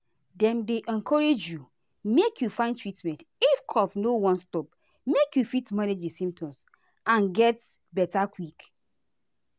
dem dey encourage you make you find treatment if cough no wan stop make you fit manage di symptoms and get beta quick.